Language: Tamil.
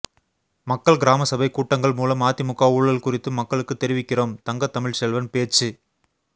மக்கள் கிராமசபை கூட்டங்கள் மூலம் அதிமுக ஊழல் குறித்து மக்களுக்கு தெரிவிக்கிறோம் தங்கத்தமிழ்ச்செல்வன் பேச்சு